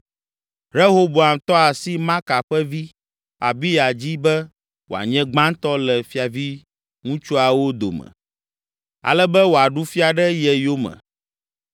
Rehoboam tɔ asi Maaka ƒe vi, Abiya dzi be wòanye gbãtɔ le fiaviŋutsuawo dome ale be wòaɖu fia ɖe ye yome.